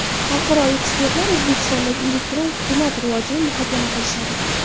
Xalqaro ekspertlar O‘zbekistondagi elektron hukumat rivojini muhokama qilishadi.